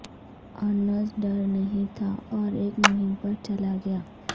Ernest ڈر نہیں تھا اور ایک مہم پر چلا گیا